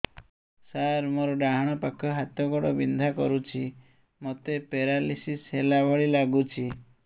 ସାର ମୋର ଡାହାଣ ପାଖ ହାତ ଗୋଡ଼ ବିନ୍ଧା କରୁଛି ମୋତେ ପେରାଲିଶିଶ ହେଲା ଭଳି ଲାଗୁଛି